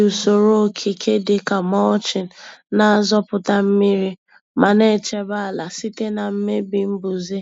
Iji usoro okike dị ka mulching na-azọpụta mmiri ma na-echebe ala site na mmebi mbuze.